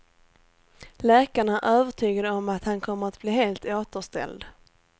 Läkarna är övertygade om att han kommer att bli helt återställd.